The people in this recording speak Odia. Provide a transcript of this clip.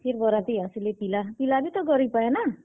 ଫେର୍ ବରାତି ଆସଲେ ପିଲା, ପିଲା ବି ତ ଗରିବ୍ ଆଏ ନାଁ।